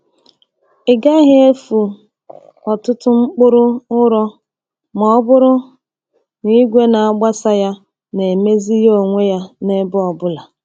Ị gaghị efu ọtụtụ mkpụrụ ụrọ ma ọ bụrụ na igwe na-agbasa ya na-emezi ya onwe ya n’ebe ọ bụla.